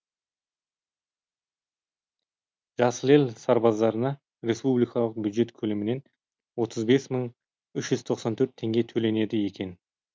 жасыл ел сарбаздарына республикалық бюджет көлемінен отыз бес мың үш жүз тоқсан төрт теңге төленеді екен